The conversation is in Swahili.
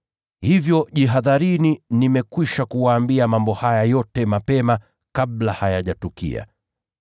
Hivyo jihadharini. Nimekwisha kuwaambia mambo haya yote mapema kabla hayajatukia.